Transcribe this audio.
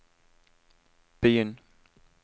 begynn